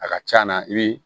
A ka ca na i bi